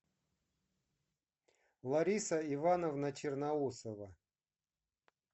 лариса ивановна черноусова